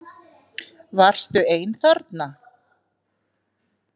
Varstu ein þarna?